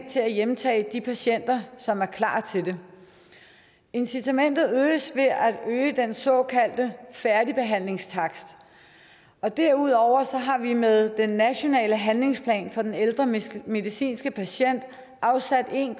til at hjemtage de patienter som er klar til det incitamentet øges ved at øge den såkaldte færdigbehandlingstakst derudover har vi med den nationale handlingsplan for den ældre medicinske medicinske patient afsat en